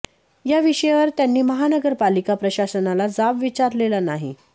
या विषयावर त्यांनी महानगर पालिका प्रशासनाला जाब विचारलेला नाही